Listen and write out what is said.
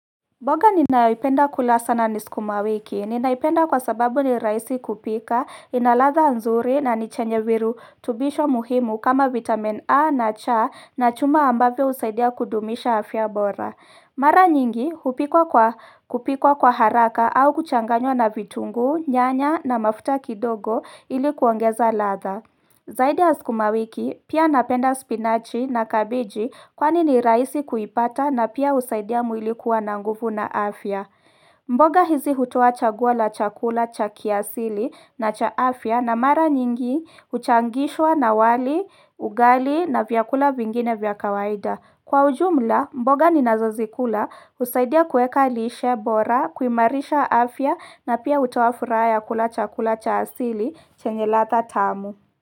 Mboga ninayoipenda kula sana ni sukumawiki, ninaipenda kwa sababu ni rahisi kupika, ina ladha nzuri na ni chenye virutubisho muhimu kama vitamin A na cha na chuma ambavyo husaidia kudumisha afya bora Mara nyingi, hupikwa kwa haraka au kuchanganywa na vitunguu, nyanya na mafuta kidogo ili kuongeza ladha Zaidi ya sukumawiki pia napenda spinachi na kabiji kwani ni rahisi kuipata na pia husaidia mwili kuwa na nguvu na afya. Mboga hizi hutoa chaguo la chakula cha kiasili na cha afya na mara nyingi huchangishwa na wali, ugali na vyakula vingine vya kawaida. Kwa ujumla, mboga ninazozikula husaidia kueka lishe bora, kuimarisha afya na pia hutoa furaha kula chakula cha asili chenye ladha tamu.